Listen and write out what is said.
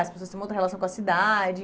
As pessoas tem uma outra relação com a cidade.